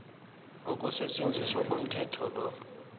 ukusetjenziswa komthetho lo